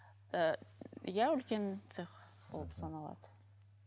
ыыы иә үлкен цех болып саналады